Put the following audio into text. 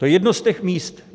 To je jedno z těch míst.